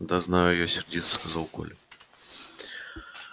да знаю я сердито сказал коля